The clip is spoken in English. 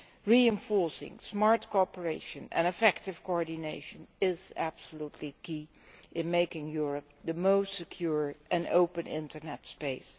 Reinforcing smart cooperation and effective coordination is crucial in making Europe the most secure and open internet space.